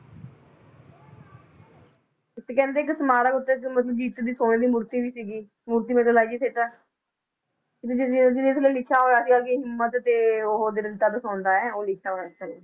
ਤੇ ਕਹਿੰਦੇ ਇੱਕ ਸਮਾਰਕ ਉੱਤੇ ਦੀ ਸੋਨੇ ਮੂਰਤੀ ਵੀ ਸੀਗੀ ਮੂਰਤੀ ਤੇ ਜਿਹਦੇ ਜਿਹਦੇ ਥੱਲੇ ਲਿਖਿਆ ਹੋਇਆ ਸੀਗਾ ਕਿ ਹਿੰਮਤ ਤੇ ਉਹ ਦਿਖਾਉਂਦਾ ਹੈ, ਉਹ ਲਿਖਿਆ ਹੋਇਆ ਸੀ ਥੱਲੇ